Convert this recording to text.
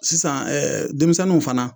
Sisan denmisɛnnu fana